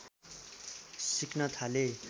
सिक्न थाले